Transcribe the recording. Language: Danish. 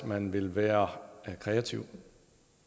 man vil være kreativ